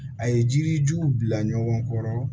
A ye jirijuw bila ɲɔgɔn kɔrɔ